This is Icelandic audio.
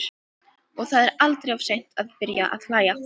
Og það er aldrei of seint að byrja að hlæja.